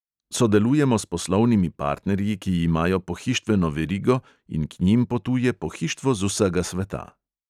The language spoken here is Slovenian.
Sodelujemo s poslovnimi partnerji, ki imajo pohištveno verigo, in k njim potuje pohištvo z vsega sveta.